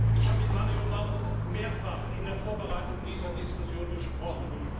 Ich habe mit Mario Mauro mehrfach in der Vorbereitung dieser Diskussion gesprochen.